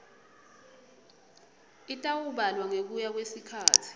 itawubalwa ngekuya kwesikhatsi